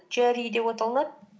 джиари деп аталынады